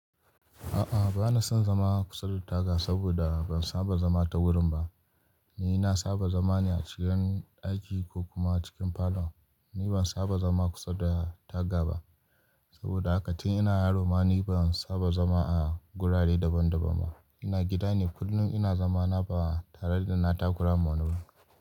A'a, ba na son zama kusa da taga saboda ban saba zama ta wurin ba. Ni na saba zama ne a cikin ɗaki ko kuma cikin falo. Ni ban saba zama kusa da taga ba saboda haka tin ina yaro ma ni ban saba zama a gurare daban-daban ba. Ina gida ne kullum ina zama na ba tare da na takura ma wani ba.